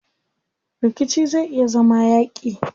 Rikici zai iya zama yaaƙi.